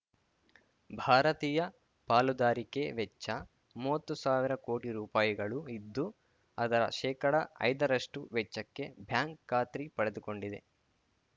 ಭಾರತೀಯ ಪಾಲುದಾರಿಕೆ ವೆಚ್ಚ ಮೂವತ್ತು ಸಾವಿರ ಕೋಟಿ ರುಪಾಯಿಗಳು ಇದ್ದು ಅದರ ಶೇಕಡಐದರಷ್ಟುವೆಚ್ಚಕ್ಕೆ ಬ್ಯಾಂಕ್‌ ಖಾತ್ರಿ ಪಡೆದುಕೊಂಡಿದೆ